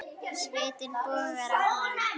Svitinn bogar af honum.